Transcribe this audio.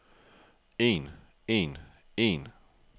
en en en